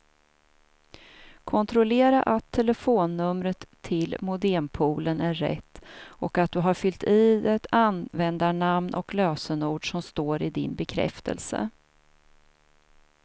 Kontrollera att telefonnumret till modempoolen är rätt och att du har fyllt i det användarnamn och lösenord som står i din bekräftelse.